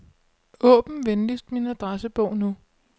Åbn venligst min adressebog nu.